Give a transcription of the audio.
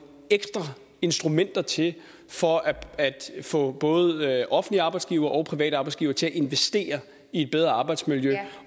ekstra instrumenter til for at få både offentlige arbejdsgivere og private arbejdsgivere til at investere i et bedre arbejdsmiljø